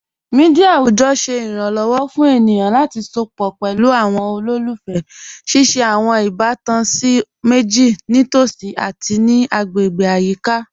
Mẹdia awujọ ṣẹ iranlọwọ fun ènìyàn lati sọpọ̀ pẹ̀lú awọn olólùfẹ́, ṣíṣẹ̀ awọn ìbàtàn ní okun síì mẹjìì ni tosí ati ní ayika agbáyé.